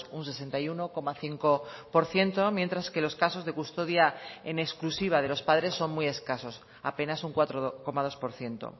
un sesenta y uno coma cinco por ciento mientras que los casos de custodia en exclusiva de los padres son muy escasos apenas un cuatro coma dos por ciento